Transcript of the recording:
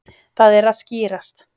Það er að skýrast.